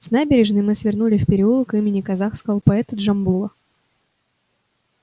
с набережной мы свернули в переулок имени казахского поэта джамбула